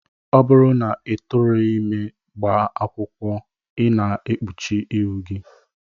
Ọ bụrụ na ị tụrụghị ime gbaa akwụkwọ, I na-ekpuchi ihu gị